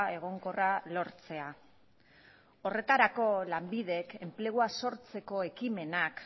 egonkorra lortzea horretarako lanbidek enplegua sortzeko ekimenak